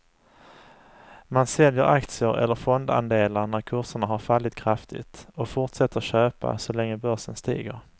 Man säljer aktier eller fondandelar när kurserna har fallit kraftigt och fortsätter köpa så länge börsen stiger.